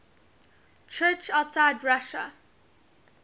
church outside russia